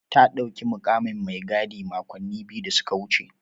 Ta ɗauki mukamin mai gadi makonni biyu da suka wuce.